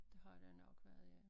Det har der nok været ja